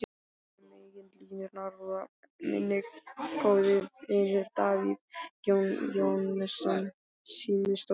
Hinum megin línunnar var minn góði vinur, Davíð Jóhannesson símstjóri.